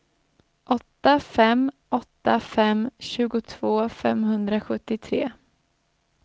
åtta fem åtta fem tjugotvå femhundrasjuttiotre